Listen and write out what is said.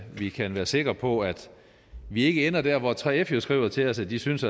vi kan være sikre på at vi ikke ender der hvor og 3f jo skriver til os at de synes